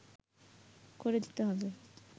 করে দিতে হবে